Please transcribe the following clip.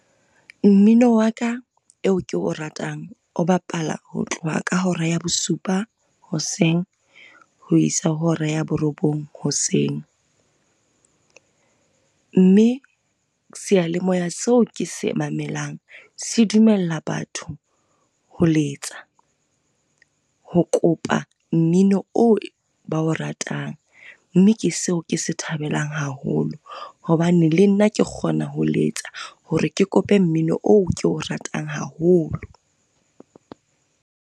Mmino wa ka eo ke o ratang, o bapala ho tloha ka hora ya bosupa hoseng ho isa ho hora ya borobong hoseng. Mme seyalemoya seo ke se mamelang se dumella batho ho letsa, ho kopa mmino o ba o ratang mme ke seo ke se thabelang haholo hobane le nna ke kgona ho letsa hore ke kope mmino oo ke o ratang haholo.